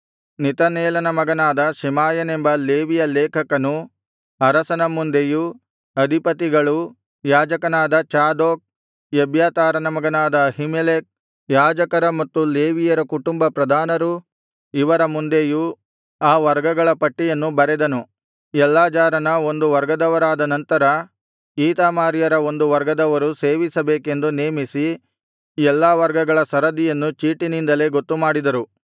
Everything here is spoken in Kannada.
ನೆತನೇಲನ ಮಗನಾದ ಶೆಮಾಯನೆಂಬ ಲೇವಿಯ ಲೇಖಕನು ಅರಸನ ಮುಂದೆಯೂ ಅಧಿಪತಿಗಳು ಯಾಜಕನಾದ ಚಾದೋಕ್ ಎಬ್ಯಾತಾರನ ಮಗನಾದ ಅಹೀಮೆಲೆಕ್ ಯಾಜಕರ ಮತ್ತು ಲೇವಿಯರ ಕುಟುಂಬ ಪ್ರಧಾನರು ಇವರ ಮುಂದೆಯೂ ಆ ವರ್ಗಗಳ ಪಟ್ಟಿಯನ್ನು ಬರೆದನು ಎಲ್ಲಾಜಾರನ ಒಂದು ವರ್ಗದವರಾದ ನಂತರ ಈತಾಮಾರ್ಯರ ಒಂದು ವರ್ಗದವರು ಸೇವಿಸಬೇಕೆಂದು ನೇಮಿಸಿ ಎಲ್ಲಾ ವರ್ಗಗಳ ಸರದಿಯನ್ನು ಚೀಟಿನಿಂದಲೇ ಗೊತ್ತುಮಾಡಿದರು